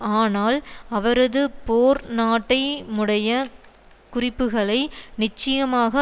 ஆனால் அவரது போர்நாட்டைமுடைய குறிப்புகளை நிச்சயமாக